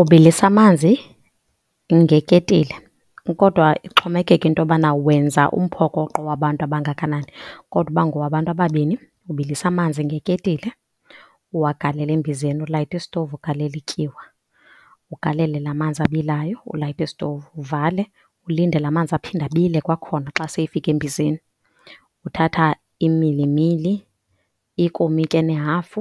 Ubilisa amanzi ngeketile, kodwa ixhomekeke into yobana wenza umphokoqo wabantu abangakanani. Kodwa uba ngowabantu ababini ubilisa amanzi ngeketile, uwagalele embizeni, ulayite isitovu, ugalele ityiwa, ugalele laa manzi abilayo, ulayite isitovu uvale. Ulinde laa manzi aphinde abile kwakhona xa seyefike embizeni. Uthatha imilimili, ikomityi enehafu